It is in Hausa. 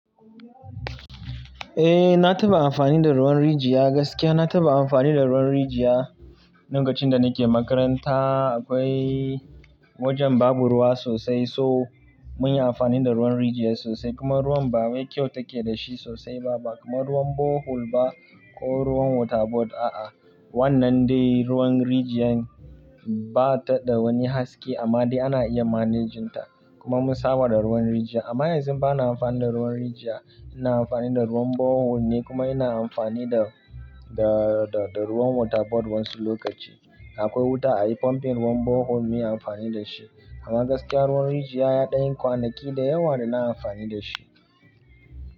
Eh, na taɓa amfani da ruwan rijiya. Gaskiya na taɓa amfani da ruwan rijiya. Lokacin da nike makaranta akwai wajen babu ruwa sosai so munyi amfani da ruwan rijiya sosai. Kuma ruwan ba wai kyau take da shi sosai ba, ba kaman ruwan borehole ba ko ruwan waterboard a'a. Wannan dai ruwan rijiyar bata da wani haske amma dai ana iya manejin ta. Kuma mun saba da ruwan rijiya. Amma yanzu bana amfani da ruwan rijiya. Ina amfani da ruwan borehole ne kuma ina amfani da, da, da, da ruwan waterboard wa'yansu lokaci. Akwai wuta ayi pumping ruwan borehole muyi amfani da shi. Amma gaskiya ruwan rijiya yaɗan yi kwanaki da yawa da na amfani da shi.